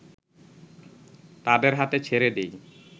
তাদের হাতে ছেড়ে দেয়